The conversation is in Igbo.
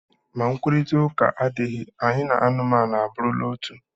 Ma nkwurịta ụka adịghị, anyị na anụmanụ abụrụla otu